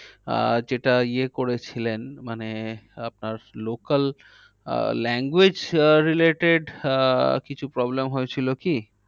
আহ যেটা ইয়ে করেছিলেন মানে আপনার local আহ language আহ related আহ কিছু problem হয়েছিল কি?